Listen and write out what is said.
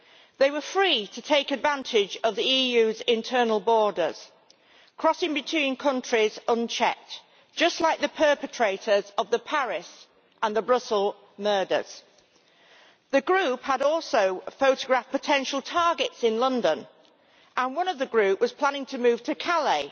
They were free to take advantage of the EU's internal borders, crossing between countries unchecked, just like the perpetrators of the Paris and the Brussels murders. The group had also photographed potential targets in London and one of the group was planning to move to Calais,